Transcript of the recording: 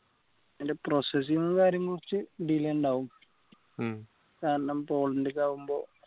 ഇതിൻറെ processing ങ്ങും കാര്യങ്ങളും കുറച്ച് delay ഉണ്ടാവും കാരണം പോളണ്ടിൽ ആവുമ്പോ